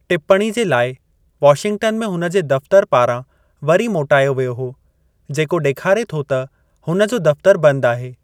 टिप्पणी जे लाइ वाशिंगटन में हुन जे दफ़्तर पारां वरी मोटायो वियो हो, जेको डे॒खारे थो त हुन जो दफ़्तरु बंदि आहे।